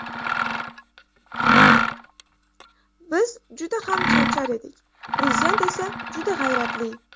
Biz juda ham charchar edik, prezident esa juda g‘ayratli.